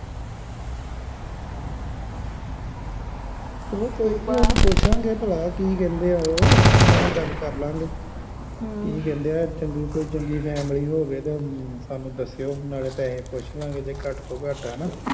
ਕੋਈ ਗੱਲ ਨਹੀਂ ਪੁੱਛਾ ਗੇ ਪਲਾ ਕਿ ਕਹਿੰਦੇ ਆ ਓ ਉਹਨਾਂ ਨਾਲ ਗੱਲ ਕਰਲਾ ਗੇ ਕੀ ਕਹਿੰਦੇ ਆ ਚੰਗੀ ਕੋਈ ਚੰਗੀ ਫੈਮਿਲੀ ਹੋਵੇ ਤੇ ਸਾਨੂੰ ਦੱਸਿਓ ਨਾਲੇ ਪੈਹੇ ਪੁਸ਼ਲਾ ਗੇ ਨਾਲੇ ਘੱਟ ਤੋਂ ਘੱਟ